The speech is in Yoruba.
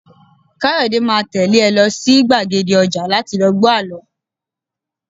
Kayode máa tẹ́lé ẹ lọ sí gbàgede ọjà láti lọ gbọ àlọ́